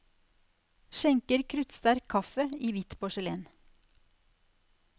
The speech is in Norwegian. Skjenker kruttsterk kaffe i hvitt porselen.